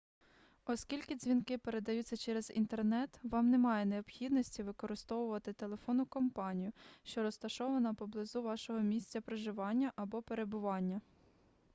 оскільки дзвінки передаються через інтернет вам немає необхідності використовувати телефонну компанію що розташована поблизу вашого місця проживання або перебування